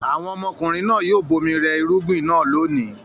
Àwọn ọmọkùnrin náà yóò bomi rẹ irúgbìn náà lónìí.